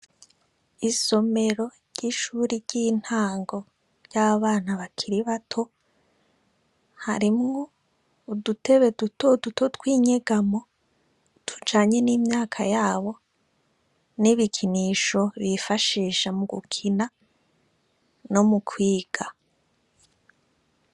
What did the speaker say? Isomero ry'ishuri ry'intango ry'abana bakiri bato, harimwo udutebe duto duto tw'inyegamo, tujanye n'imyaka yabo, n'ibikinisho bifashisha mu gukina no mu kwiga.